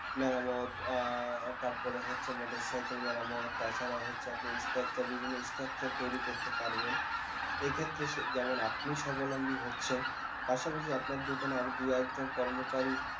মেরামত আহ তারপরে হচ্ছে motor cycle মেরামত তাছাড়াও হচ্ছে আপনি structure বিভিন্ন structure তৈরী করতে পারবেন এক্ষেত্রে সে যেমন আপনি সবলম্বি হচ্ছেন পাশাপাশি আপনার দোকানে আরও দু একজন কর্মচারী